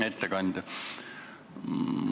Hea ettekandja!